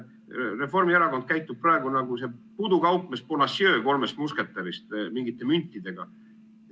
Reformierakond käitub praegu nagu pudukaupmees Bonacieux "Kolmest musketärist" mingite müntidega.